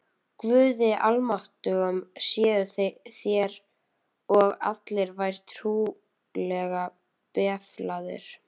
Guði almáttugum séuð þér og allir vær trúlega befalaðir.